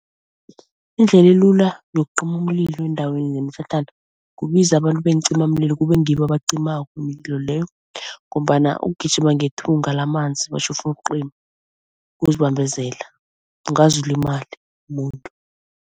Indlela elula yokucima umlilo endaweni yemitlhatlhana kubiza abantu beencimamlilo kube ngibo abacimako umililo leyo ngombana ukugijima ngethunga lamanzi batjho ufuna ukucima ukuzibambezela, ungaze ulimale